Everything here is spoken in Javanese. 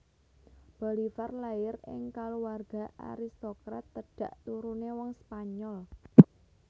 Bolivar lair ing kaluwarga aristokrat tedhak turune wong Spanyol